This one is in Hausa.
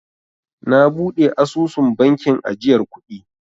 Na buɗe asusun bankin ajiyar kuɗi.